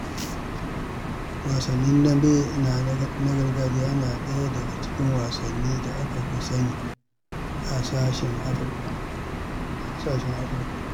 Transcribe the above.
Wasan dambe na gargajiya yana ɗaya daga cikin wasannin da aka fi sani a ƙasashen Afrika.